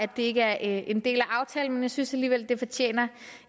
det ikke er en del af aftalen men jeg synes alligevel at det fortjener